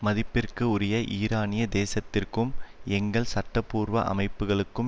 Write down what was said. மதிப்பிற்கு உரிய ஈரானிய தேசத்திற்கும் எங்கள் சட்டபூர்வ அமைப்புக்களுக்கும்